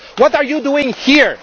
what are you doing here?